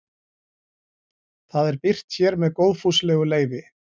Það er birt hér með góðfúslegu leyfi.